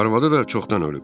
Arvadı da çoxdan ölüb.